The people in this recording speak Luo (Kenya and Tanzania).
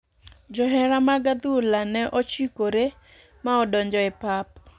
Johera mag adhula ne ochikore ma odonjo e pap